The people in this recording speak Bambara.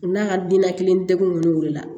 N'a ka diinɛ kelen kɔni la